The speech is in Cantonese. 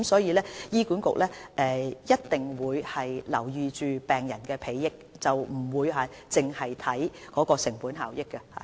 醫管局必定會顧及病人的裨益，不會只看成本效益。